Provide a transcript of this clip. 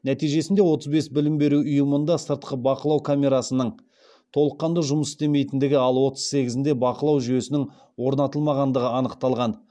нәтижесінде отыз бес білім беру ұйымында сыртқы бақылау камерасының толыққанды жұмыс істемейтіндігі ал отыз сегізінде бақылау жүйесінің орнатылмағандығы анықталған